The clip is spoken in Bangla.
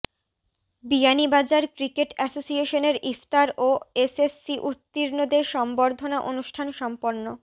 বিয়ানীবাজার ক্রিকেট এসোসিয়েশনের ইফতার ও এসএসসি উত্তীর্ণদের সংবর্ধনা অনুষ্ঠান সম্পন্ন